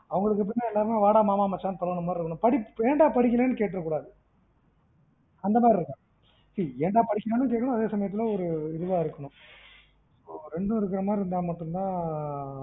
அவங்களுக்கு எப்டீன்னா எல்லாருமே வாடா மாமா மச்சான்னு பழகுற மாதிரி இருக்கணும், படிப்பு ஏண்டா படிக்கலன்னு கேட்றக்கூடாது, அந்த மாரி இருக்கனும். see ஏண்டா படிக்கணுன்னுட்டும் இருக்கனும் அதேசமயத்துல ஒரு இதுவா இருக்கணும், ரெண்டும்இருக்குற மாதிரி இருந்தா மட்டும் தான்